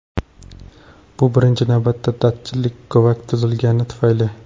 Bu birinchi navbatda datchik g‘ovak tuzilgani tufayli.